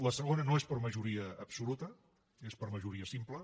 la segona no és per majoria absoluta és per majoria simple